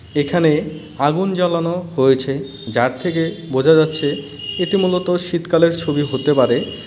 এখানে আগুন জ্বালানো হয়েছে যার থেকে বোঝা যাচ্ছে এটি মূলত শীতকালের ছবি হতে পারে .